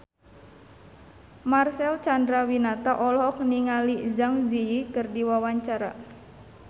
Marcel Chandrawinata olohok ningali Zang Zi Yi keur diwawancara